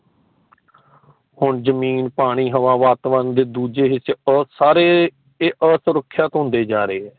ਹੁਣ ਜ਼ਮੀਨ ਪਾਣੀ ਹਵਾ ਵਾਤਾਵਰਨ ਤੇ ਦੂਜੇ ਹਿੱਸੇ ਆ ਸਾਰੇ ਆਸੁਰਖਿਅਤ ਹੁੰਦੇ ਜਾਂ ਰਹੇ ਹੈ।